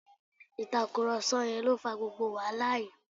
Ìtàkùrọ̀sọ yẹn lo fà gbogbo wàhálà yìí